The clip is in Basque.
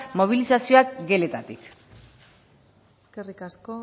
mobilizazioak geletatik eskerrik asko